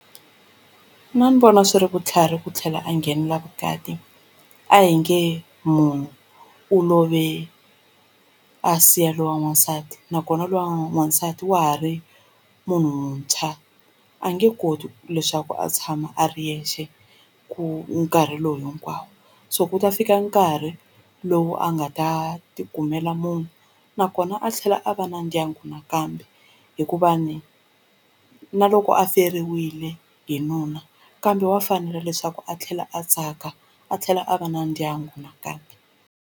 Mina ndzi vona swi ri vutlhari ku tlhela a nghenela vukati a hi nge munhu u love a siya loyi wa n'wansati nakona loyi wa n'wansati wa ha ri munhu muntshwa a nge koti leswaku a tshama a ri yexe ku nkarhi lowu hinkwawo so ku ta fika nkarhi lowu a nga ta ti kumela munhu nakona a tlhela a va na na ndyangu nakambe hikuva ni na loko a feriwile hi nuna kambe wa fanela leswaku a tlhela a tsaka a tlhela a va na ndyangu nakambe.